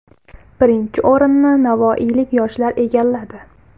Birinchi o‘rinni navoiylik yoshlar egalladi.